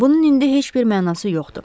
Bunun indi heç bir mənası yoxdur.